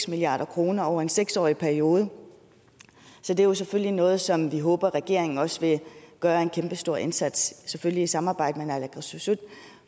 milliard kroner over en seks årig periode så det er selvfølgelig noget som vi håber regeringen også vil gøre en kæmpestor indsats selvfølgelig i samarbejde med naalakkersuisut